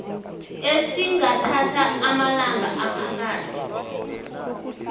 esingathatha amalanga aphakathi